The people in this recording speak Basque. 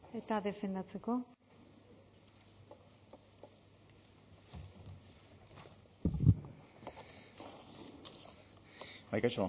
eta defendatzeko bai kaixo